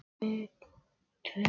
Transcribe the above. Og nú voru góð ráð dýr.